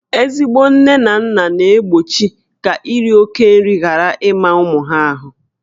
Ezigbo nne na nna na-egbochi ka iri oke nri ghara ịma ụmụ ahụ